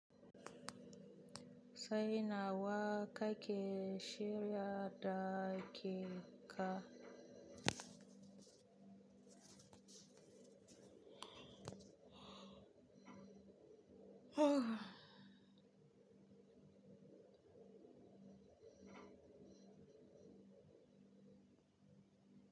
Sai nawa, kake shirya da ke ka?